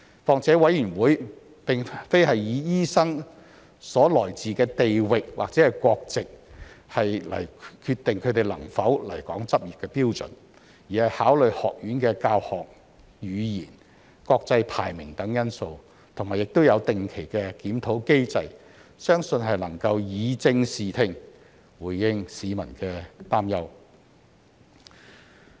況且委員會並非以醫生所來自的地域或國籍來決定他們能否來港執業的標準，而是考慮學院的教學語言、國際排名等因素，亦有定期檢討機制，相信能以正視聽，回應市民的擔憂。